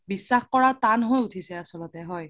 বিশ্বাস কৰা তান হৈ উথিছে আচল্তে হয়